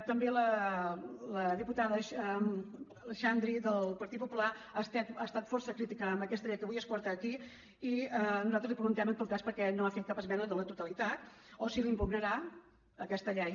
també la diputada xandri del partit popular ha estat força crítica amb aquesta llei que avui es porta aquí i nosaltres li preguntem en tot cas per què no ha fet cap esmena a la totalitat o si la impugnarà aquesta llei